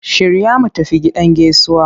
Shirya mu tafi gidan gaisuwa!